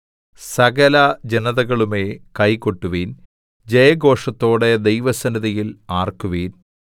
സകലജനതകളുമേ കൈ കൊട്ടുവിൻ ജയഘോഷത്തോടെ ദൈവസന്നിധിയിൽ ആർക്കുവിൻ